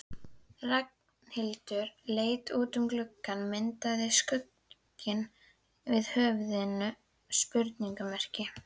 Ragnhildur leit út um gluggann myndaði skugginn af höfðinu spurningarmerki.